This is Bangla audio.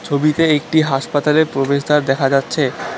ফবিতে একটি হাসপাতালের প্রবেশদ্বার দেখা যাচ্ছে।